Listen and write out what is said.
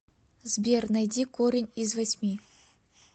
сбер найди корень из восьми